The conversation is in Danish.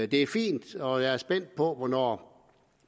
det er fint og jeg er spændt på hvornår